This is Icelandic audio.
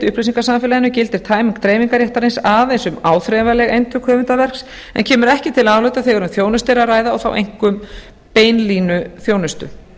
upplýsingasamfélaginu gildir tæming dreifingarréttarins aðeins um áþreifanleg eintök höfundaverks en kemur ekki til álita ber um þjónustu er að ræða og þá einkum beinlínuþjónustu